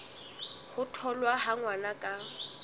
ho tholwa ha ngwana ka